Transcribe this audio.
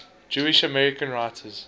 jewish american writers